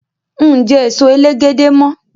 Ń jẹ́ èso elégédé mọ.